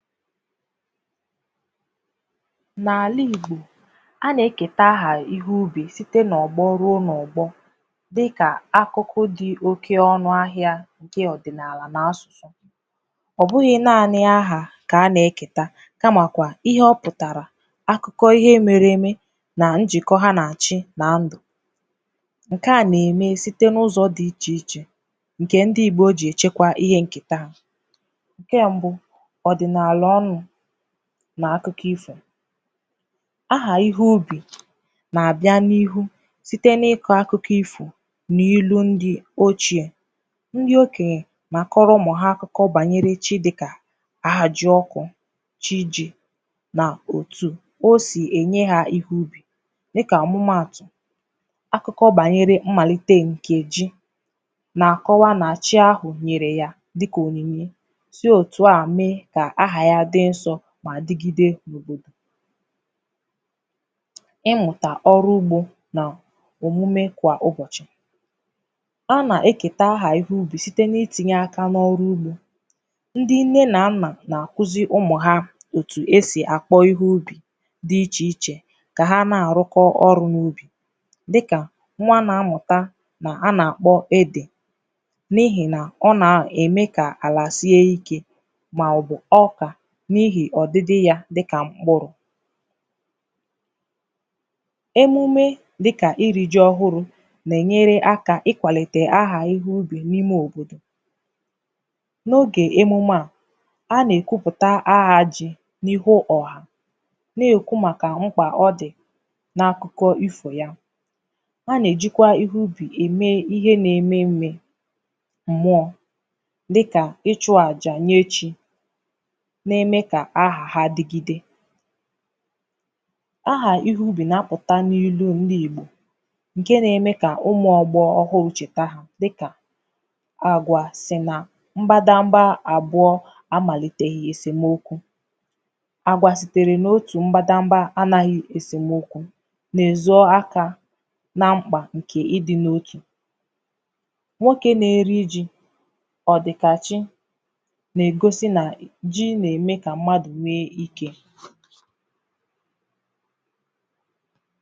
N’ala Igbò ha na-ekè taaha ihe ubi sitē n’ọgbọ̀ ruo n’ọgbọ̀ dịkà akụkụ dị oke ọnụ ahịà nye ọdịaalà na asụ ọ bụghị̀ naanị̀ ahà ka a na-eketà kamakwà ihe ọpụtarà akụkọ̀ ihe mere eme na njịkọ̀ ha na-achị̀ na ndụ̀ nke à na-eme site n’ụzọ̀ dị iche ichè nke ndị Igbò ji echekwà ihe nke taa nke mbụ̀ ọ dịnaalà ọnụ̀ n’akụkọ̀ ifò ahà ihe ubi na-abịà n’ihu sitē n’ịkọ akụkọ̀ ifò n’elu ndị̀ ochiè ndị okenyè na-akọrọ̀ ụmụ hà akụkọ̀ banyere Chi dịkà ahajiọkụ̀ Chi ji na akporotù o si enye ha ihe ubi dịkà amụmaatụ̀ akụkọ̀ banyere mmalite nke ji na-akọwà na chi ahụ nyere yà dịkà oninye dị otù à mee ka ahà yà dị nsọ̀ ma digide n’òbodò ịmụtà ọrụ̀ ugbò nà omume kwà ụbọchị̀ a na-eketà aha ihe ubi sitē n’itinye aka n’ọrụ̀ ugbò ndị nne na nnà na-akuzi ụmụ ha otù e si a kpọ ihe ubi dị iche ichè ka ha na-arụkọ̀ ọrụ̀ n’ubi dịkà nwa a na-amụtà na a na-akpọ̀ ede n’ihi nà ọ na-eme ka alà sie ike maọ̀bụ̀ ọkà n’ihi ọdịdị yà dịkà m̄kpụrụ̀ emume dịkà iri ji ọhụrụ̀ na-enyere akà ịkwalite ahà ihe ubi n’ime òbodò n’oge emume à a na-ekwuputà ahà ji n’ihu ọhà na-ekwù makà m̄kpà ọ dị̀ na-akụkọ̀ ifo yà a na-ejikwà ihe ubi eme ihe na-eme nee mụọ̀ dịkà ịchụ ajà nye chi na-eme ka aha ha digide aha ihe ubi na-apụtà n’ilù ndị Igbò nke na-eme ka ụmụ ọgbọ ọhụụ chetà dịkà agwà si na mbadambà abụọ̀ amaliteghì esemokwù agwà sitere n’otù mbadambà anaghì esemokwù n’ezo akà na m̄kpà nke ịdị n’otù nwoke na-eri ji ọdịkachì na-egosi na ji na-eme kà mmadụ̀ nwe ike